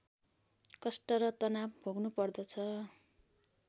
कष्ट र तनाव भोग्नुपर्छ